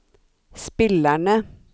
spillerne